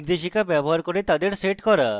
নির্দেশিকা ব্যবহার করে তাদের set করা